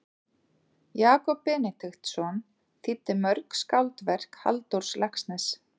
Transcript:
Jakob Benediktsson þýddi mörg skáldverk Halldórs Laxness.